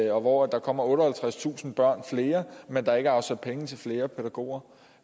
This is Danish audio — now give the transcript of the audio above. og hvor der kommer otteoghalvtredstusind flere men der ikke er afsat penge til flere pædagoger